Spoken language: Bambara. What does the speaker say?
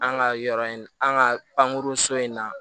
An ka yɔrɔ in an ka pankurun in na